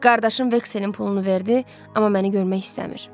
Qardaşım Vekselin pulunu verdi, amma məni görmək istəmir.